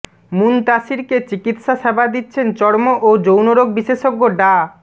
মুনতাসিরকে চিকিৎসা সেবা দিচ্ছেন চর্ম ও যৌনরোগ বিশেষজ্ঞ ডা